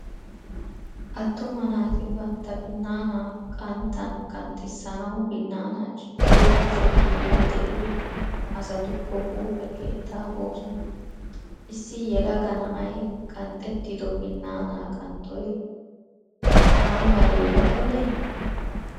Attuma naati bantta binaana qanttanqanxxissanawu binaana ciggiyo kushe hiilay deiyo asatukko huuphphee keettaa boosona. Issi yelaga na"ay qanxxettido binaana qanxxoy aymale lo"ene?